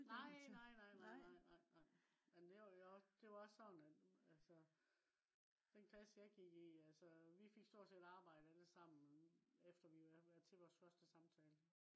nej nej nej nej nej men det var jo også sådan at altså den klasse jeg gik i altså vi fik stort set alle arbejde efter vi havde været til vores første samtale